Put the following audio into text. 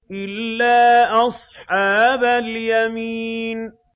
إِلَّا أَصْحَابَ الْيَمِينِ